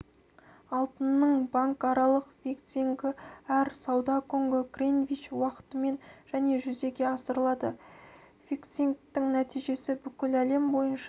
алтынның банкаралық фиксингі әр сауда күні гринвич уақытымен және жүзеге асырылады фиксингтің нәтижесі бүкіл әлем бойынша